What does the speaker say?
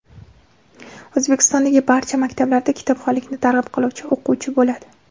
O‘zbekistondagi barcha maktablarda kitobxonlikni targ‘ib qiluvchi o‘quvchi bo‘ladi.